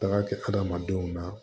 Taga kɛ adamadenw na